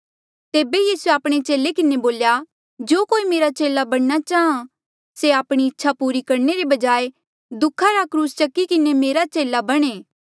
तेबे यीसूए आपणे चेले किन्हें बोल्या जो कोई मेरा चेला बणना चाहां से आपणी इच्छा पूरा करणे रे बजाए दुःखा रा क्रूस चकी किन्हें मेरा चेला बणे